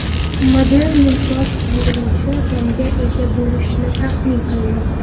Model yumshoq yig‘iluvchi tomga ega bo‘lishi taxmin qilinmoqda.